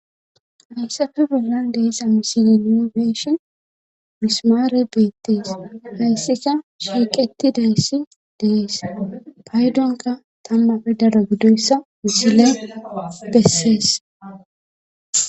heyssafu bollan deessa misile niu beeshe misimaare beettes hayssika shiiqetti dayssi dees paydonka tamma pe daro gidoyssa misile bessees